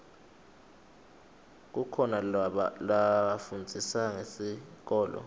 kukhoa lafundzisa ngesikolo